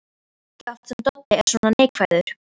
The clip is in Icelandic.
Ekki oft sem Doddi er svona neikvæður.